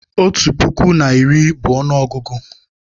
Otu puku na iri bụ ọnụọgụgụ